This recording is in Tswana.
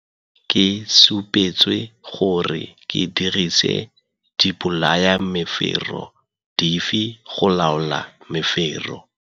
Gape ke supetswe gore ke dirise dibolayamefero dife go laola mefero.